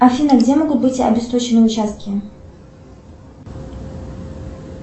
афина где могут быть обесточены участки